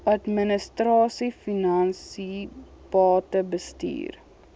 administrasie finansies batebestuur